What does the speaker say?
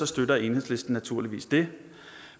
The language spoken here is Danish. støtter enhedslisten naturligvis det